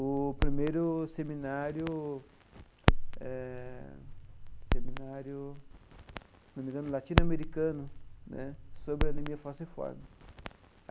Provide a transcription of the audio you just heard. o primeiro seminário, eh seminário se não me engano, latino-americano né sobre anemia falciforme.